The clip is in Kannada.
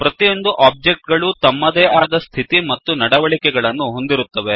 ಪ್ರತಿಯೊಂದು ಒಬ್ಜೆಕ್ಟ್ ಗಳೂ ತಮ್ಮದೇ ಆದ ಸ್ಥಿತಿ ಮತ್ತು ನಡವಳಿಕೆ ಗಳನ್ನು ಹೊಂದಿರುತ್ತವೆ